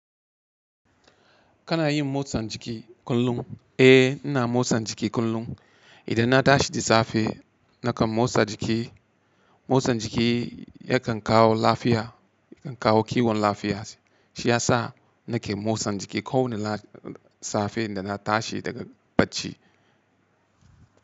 Kana yin motsan jiki kullum? Eh, ina motsan jiki kullum. Idan na tashi da safe nakan motsa jiki. Motsan jiki yakan kawo lafiya, yakan kawo kiwon lafiya, shi ya sa nake motsan jiki kowane safe da na tashi daga bacci.